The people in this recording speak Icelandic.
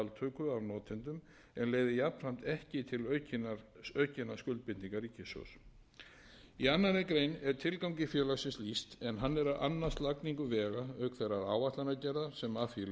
en leiði jafnframt ekki til aukinna skuldbindinga ríkissjóðs í annarri grein er tilgangi félaginu lýst en hann er að annast lagningu vega auk þeirrar áætlanagerðar sem af því leiðir þar með talið hönnun útboð samningsgerð við